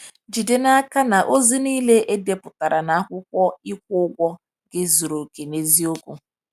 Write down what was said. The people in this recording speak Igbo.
Jide n'aka na ozi niile e depụtara na akwụkwọ ịkwụ ụgwọ gị zuru oke na eziokwu.